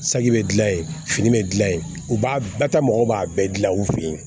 Saki bɛ gilan yen fini bɛ dilan yen u b'a bɛɛ ta mɔgɔ b'a bɛɛ dilan u fɛ yen